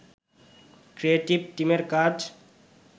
creative টিমের কাজ